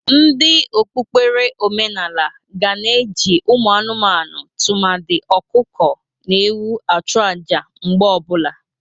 Ndị okpukpere omenala ga na-eji ụmụ anụmanụ tụmadị ọkụkọ na ewu ajụ aja mgbe ọ bụla.